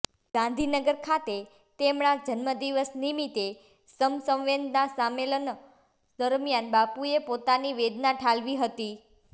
ગાંધીનગર ખાતે તેમણા જન્મદિવસ નિમિત્તે સમસંવેદના સંમેલન દરમિયાન બાપુએ પોતાની વેદના ઠાલવી હતી